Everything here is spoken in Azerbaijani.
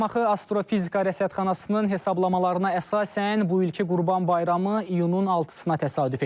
Şamaxı Astrofizika Rəsadxanasının hesablamalarına əsasən bu ilki Qurban bayramı iyunun 6-na təsadüf edir.